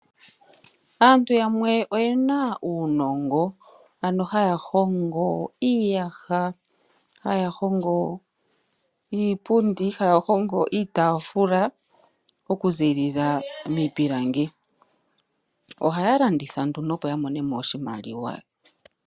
Aantu yamwe oyena uunongo ano haya hongo iiyaha, haya hongo iipundi, haya hongo iitafula okuziilila mii pilangi ohaya landitha nduno opo yamonemo oshimaliwa.